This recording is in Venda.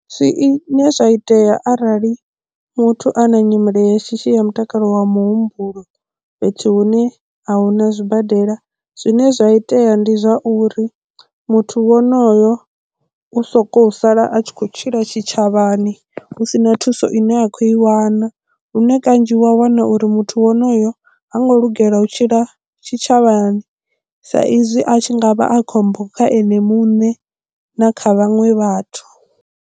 Zwi ne zwa itea arali muthu a na nyimele ya shishi ya mutakalo wa muhumbulo fhethu hune ahuna zwibadela zwine zwa itea ndi zwa uri muthu wonoyo u sokou sala a tshi khou tshila tshitshavhani husina thuso ine a khou i wana lune kanzhi wa wana uri muthu wonoyo ha ngo lugela u tshila tshitshavhani sa izwi a tshi nga vha a khombo kha ene muṋe na kha vhaṅwe vhathu.